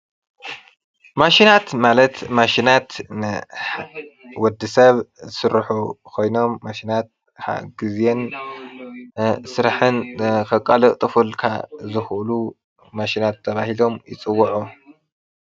ማሽናት ማለት ማሽናት ብወድሰብ ዝስርሑ ኮይኖም ማሽናት ጊዜን ስራሕን ከቃላጥፉልካ ዝክእሉ ማሽናት ተባሂሎም ይፅዉዑ።